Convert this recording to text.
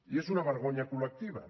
i és una vergonya col·lectiva